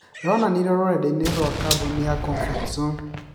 Yonanirwe rũrendainĩ ya kambũni ya Comfortzone